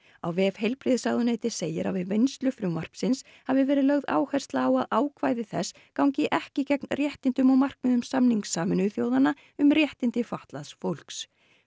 á vef heilbrigðisráðuneytisins segir að við vinnslu frumvarpsins hafi verið lögð áhersla á að ákvæði þess gangi ekki gegn réttindum og markmiðum samnings Sameinuðu þjóðanna um réttindi fatlaðs fólks